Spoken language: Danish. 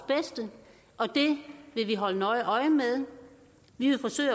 bedste og det vil vi holde nøje øje med vi vil forsøge